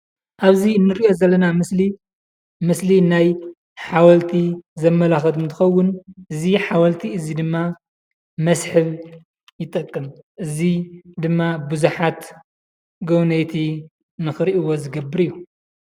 ኣብዚ እንሪኦ ዘለና ምስሊ ምስሊ ናይ ሓወልቲ ዘመላኽት እንትኸውን እዚ ሓወልቲ እዚ ድማ መስሕብ ይጠቅም፡፡ እዚ ድማ ብዙሓት ጎብነይቲ ንኽሪእዎ ዝገብር እዩ፡፡